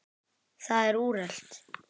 Það er úrelt.